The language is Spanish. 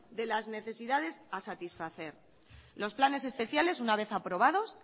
de las necesidades a satisfacer los planes especiales una vez aprobados